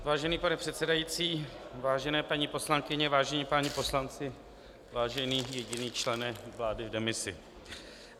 Vážený pane předsedající, vážené paní poslankyně, vážení páni poslanci, vážený jediný člene vlády v demisi.